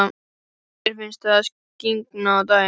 Mér finnst það skyggja á daginn.